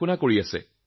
অনলাইনত পঢ়ি আছে